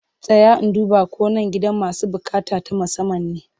Tsaya in duba ko nan gidan masu buƙata ta musamman ne!